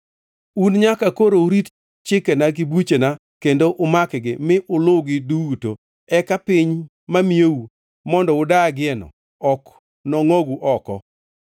Un nyaka koro urit chikena gi buchena kendo umak-gi, mi uluwgi duto, eka piny mamiyou mondo udagieno ok nongʼogu oko.